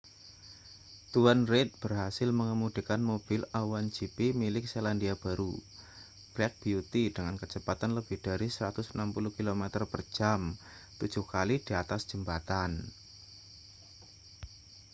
tuan reid berhasil mengemudikan mobil a1 gp milik selandia baru black beauty dengan kecepatan lebih dari 160 km/jam tujuh kali di atas jembatan